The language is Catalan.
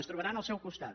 ens trobaran al seu costat